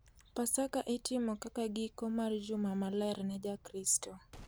Pasaka itimo kaka giko mar juma maler ne Jokristo,